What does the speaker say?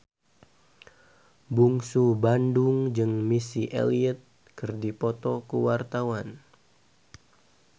Bungsu Bandung jeung Missy Elliott keur dipoto ku wartawan